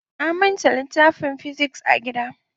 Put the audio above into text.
Na manta littafin "physics" a gida.